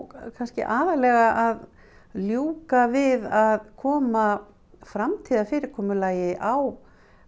kannski aðallega að ljúka við að koma framtíðarfyrirkomulagi á